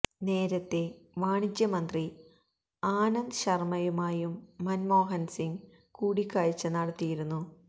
നേരത്തേ വാണിജ്യ മന്ത്രി ആനന്ദ് ശര്മയുമായും മന്മോഹന് സിങ് കൂടിക്കാഴ്ച നടത്തിയിരുന്നു